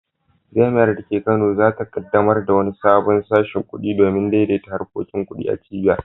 Jami’ar da ke Kano za ta kaddamar da wani sabon sashin kudi domin daidaita harkokin kudi a cibiyar.